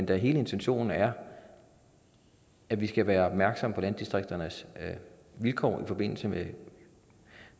da hele intentionen er at vi skal være opmærksomme på landdistrikternes vilkår i forbindelse med